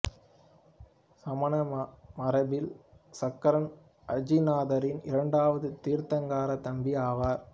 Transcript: சமண மரபில் சகரன் அஜிதநாதரின் இரண்டாவது தீர்த்தங்கர தம்பி ஆவார்